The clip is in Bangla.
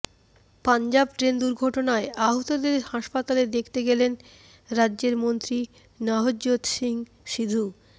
পঞ্জাব ট্রেন দুর্ঘটনায় আহতদের হাসপাতালে দেখতে গেলেন রাজ্যের মন্ত্রী নভজ্যোৎ সিং সিধু